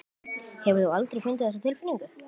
Hefur þú aldrei fundið þessa tilfinningu?